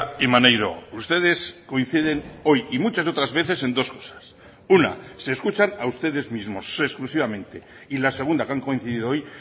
y maneiro ustedes coinciden hoy y muchas otras veces en dos cosas una se escuchan a ustedes mismos exclusivamente y la segunda que han coincidido hoy